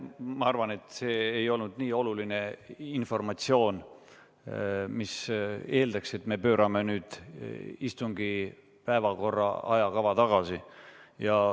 Ma arvan, et see ei olnud nii oluline informatsioon, mis eeldaks, et me pöörame nüüd istungi päevakorra ajakava tagasi.